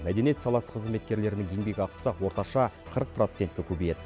мәдениет саласы қызметкерлерінің еңбекақысы орташа қырық процентке көбейеді